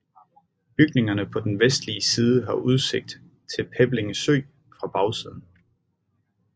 Bygningerne på den vestlige side har udsigt til Peblinge Sø fra bagsiden